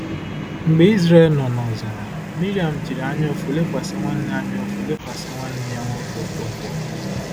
Mgbe Izrel nọ n’ọzara, Miriam jiri anyaụfụ lekwasị nwanne anyaụfụ lekwasị nwanne ya nwoke Okonkwo.